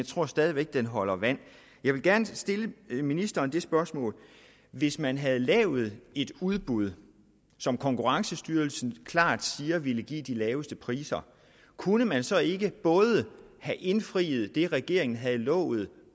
tror stadig væk den holder vand jeg vil gerne stille ministeren det spørgsmål hvis man havde lavet et udbud som konkurrencestyrelsen klart siger ville give de laveste priser kunne man så ikke både have indfriet det regeringen havde lovet